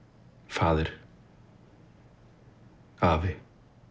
faðir afi